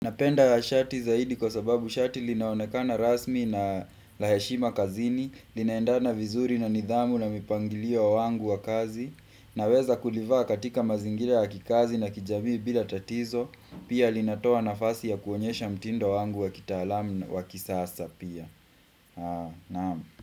Napenda shati zaidi kwa sababu shati linaonekana rasmi na la heshima kazini, linaendana vizuri na nidhamu na mipangilio wangu wa kazi, naweza kulivaa katika mazingira ya kikazi na kijamii bila tatizo, pia linatoa nafasi ya kuonyesha mtindo wangu wa kitalamu wa kisasa pia.